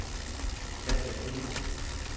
Katja Hemmingsen